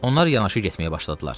Onlar yanaşı getməyə başladılar.